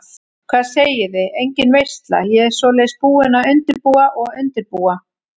Hvað segiði, engin veisla, ég svoleiðis búin að undirbúa og undirbúa.